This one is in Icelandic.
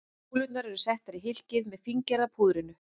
Kúlurnar eru settar í hylkið með fíngerða púðrinu.